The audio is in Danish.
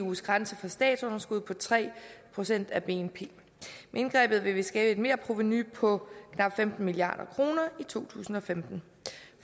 eus grænse for statsunderskud på tre procent af bnp med indgrebet vil vi skabe et merprovenu på knap femten milliard kroner i to tusind og femten